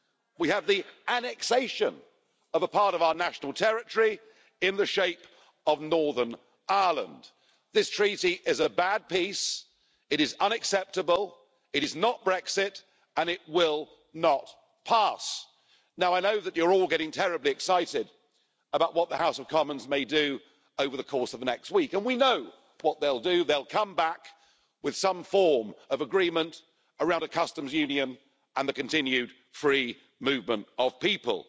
We have the annexation of a part of our national territory in the shape of Northern Ireland. This Treaty is a bad piece. It is unacceptable, it is not Brexit, and it will not pass. I know that you're all getting terribly excited about what the House of Commons may do over the course of the next week, and we know what they'll do they'll come back with some form of agreement around a customs union and the continued free movement of people.